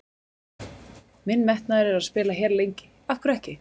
Minn metnaður er að spila hér lengi, af hverju ekki?